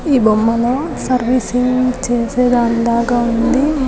ఈ బొమ్మలో సర్వీసింగ్ చేసే దానిలాగా ఉంది .